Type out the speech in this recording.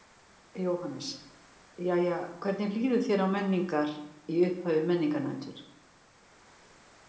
Jóhannes: Jæja hvernig líður þér á Menningar, í upphafi Menningarnætur?